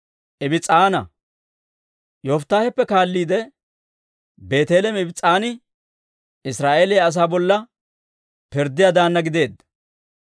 Yofittaaheppe kaalliide, Beeteleeme Ibs's'aani Israa'eeliyaa asaa bolla pirddiyaa daanna gideedda.